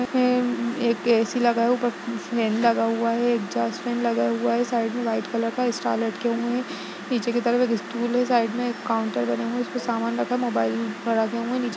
नीचे मे एक ऐसी लगा है ऊपर फैन लगा हुआ है एग्जॉस्ट फैन लगा हुआ है साइड मे व्हाइट कलर का स्टार लटके हुए है पीछे के तरफ एक स्टूल है साइड मे एक काउन्टर बने हुए है जिसमे सामान रखा है मोबाइल हुए है नीचे --